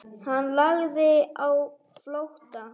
Hann lagði á flótta.